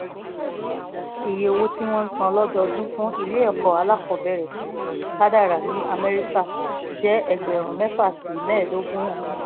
iye owó tí wọ́n ń san lọ́dọọdún fún ilé ẹ̀kọ́ alákọ̀ọ́bẹ̀rẹ̀ kádàrá ní amẹ́ríkà jẹ́ ẹgbẹ̀rún mẹ́fà sí mẹ́ẹ̀ẹ́dógún dọ́là